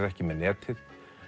ekki með netið